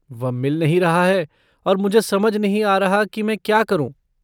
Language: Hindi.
वह मिल नहीं रहा है और मुझे समझ नहीं आ रहा कि मैं क्या करूँ।